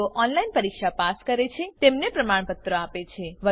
જેઓ ઓનલાઇન પરીક્ષા પાસ કરે છે તેમને પ્રમાણપત્ર આપે છે